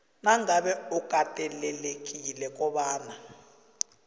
nangabe ukatelelekile kobana